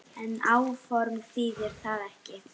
En áform þýðir það ekki.